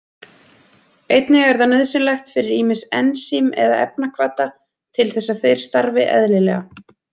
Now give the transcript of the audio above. Einnig er það nauðsynlegt fyrir ýmis ensím eða efnahvata til þess að þeir starfi eðlilega.